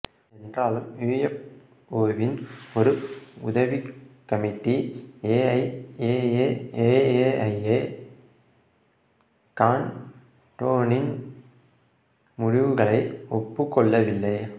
என்றாலும் யுஎஃப்ஒவின் ஒரு உதவிக்கமிட்டி எஐஎஎஏஏஐஏ காண்டோனின் முடிவுகளை ஒப்புக் கொள்ளவில்லை